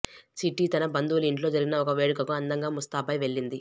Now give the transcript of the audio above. చిట్టి తన బంధువుల ఇంట్లో జరిగిన ఒక వేడుకకు అందంగా ముస్తాబై వెళ్లింది